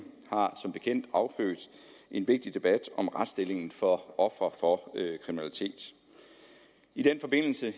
har som bekendt affødt en vigtig debat om retsstillingen for ofre for kriminalitet i den forbindelse